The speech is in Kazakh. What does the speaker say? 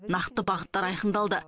нақты бағыттар айқындалды